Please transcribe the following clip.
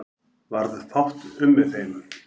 Varð fátt um með þeim